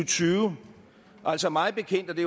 tyve altså mig bekendt og det